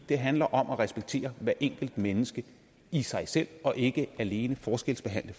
det handler om at respektere hvert enkelt menneske i sig selv og ikke alene forskelsbehandle